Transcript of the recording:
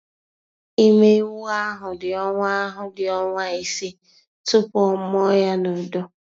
Ime ewu ahụ dị ọnwa ahụ dị ọnwa ise tupu ọ mụọ ya na udo.